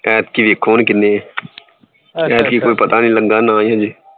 ਐਤਕੀ ਵੇਖੋ ਹੁਣ ਕਿੰਨੀ ਐਤਕੀ ਹੁਣ ਪਤਾ ਨਹੀਂ